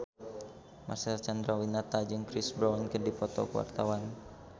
Marcel Chandrawinata jeung Chris Brown keur dipoto ku wartawan